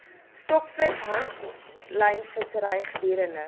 stokvis handlynvissery gedurende